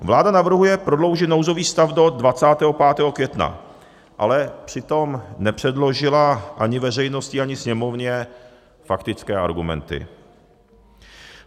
Vláda navrhuje prodloužit nouzový stav do 25. května, ale přitom nepředložila ani veřejnosti, ani Sněmovně faktické argumenty.